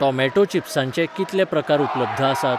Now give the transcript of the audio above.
Tomato चिप्सांचे कितले प्रकार उपलब्ध आसात?